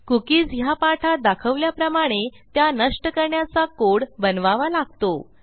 cookies ह्या पाठात दाखवल्याप्रमाणे त्या नष्ट करण्याचा कोड बनवावा लागतो